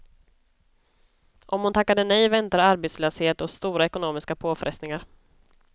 Om hon tackade nej väntade arbetslöshet och stora ekonomiska påfrestningar.